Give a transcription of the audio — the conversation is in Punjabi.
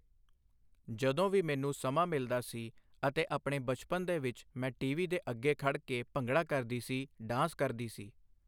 ਜਦੋਂ ਵੀ ਮੈਨੂੰ ਸਮਾਂ ਮਿਲਦਾ ਸੀ ਅਤੇ ਆਪਣੇ ਬਚਪਨ ਦੇ ਵਿੱਚ ਮੈਂ ਟੀ ਵੀ ਦੇ ਅੱਗੇ ਖੜ੍ਹ ਕੇ ਭੰਗੜਾ ਕਰਦੀ ਸੀ ਡਾਂਸ ਕਰਦੀ ਸੀ।